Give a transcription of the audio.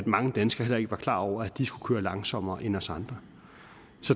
mange danskere heller ikke var klar over de skulle køre langsommere end os andre